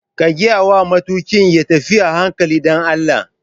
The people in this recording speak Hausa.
Ka gayawa matuƙin ya tafi a hankali dan Allah!